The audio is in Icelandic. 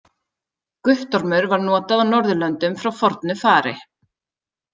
Guttormur var notað á Norðurlöndum frá fornu fari.